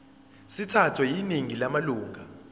sithathwe yiningi lamalunga